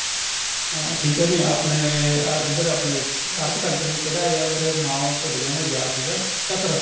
ਅਹ ਠੀਕ ਏ ਨੀਂ ਆਪਣੇ ਇੱਧਰ ਆਪਣੇ ਅਰਬ country ਕਿਹੜਾ ਆ ਮੇਰੇ ਹੁਣ ਨਾਉ ਭੁੱਲ ਗਿਆ ਮੈਨੂੰ ਯਾਦ ਸੀਗਾ Qatar